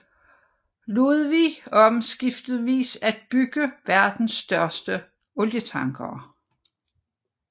Ludwig om skiftevis at bygge verdens største olietankere